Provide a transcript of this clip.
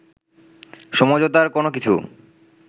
সমঝোতার কোনো কিছু